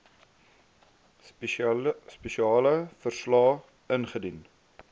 spesiale verslae ingedien